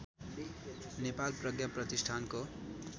नेपाल प्रज्ञा प्रतिष्ठानको